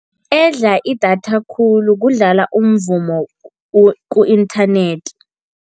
Edla idatha khulu kudlala umvumo ku-inthanethi.